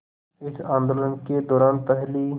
इस आंदोलन के दौरान पहली